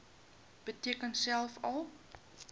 beteken selfs al